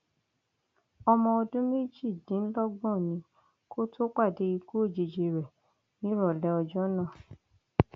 ọmọ ọdún méjìdínlọgbọn ni kó tóo pàdé ikú òjijì rẹ nírọlẹ ọjọ náà